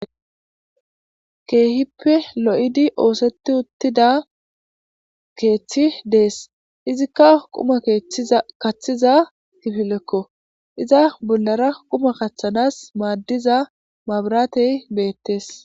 keehippe lo7idi ooseti uttida keeththi dees izikka quma kaththiza gifilekko iza bollara quma kaththanas maaddiza maabratey beettees